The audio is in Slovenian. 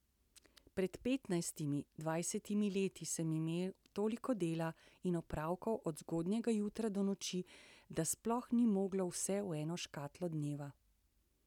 Pred petnajstimi, dvajsetimi leti sem imel toliko dela in opravkov od zgodnjega jutra do noči, da sploh ni moglo vse v eno škatlo dneva.